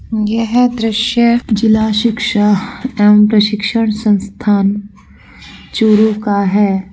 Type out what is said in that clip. यह दृश्य जिला शिक्षा एव प्रशिक्षण संस्थान चूरू का है।